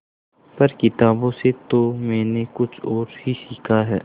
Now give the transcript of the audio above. पर किताबों से तो मैंने कुछ और ही सीखा है